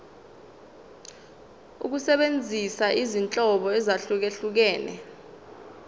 ukusebenzisa izinhlobo ezahlukehlukene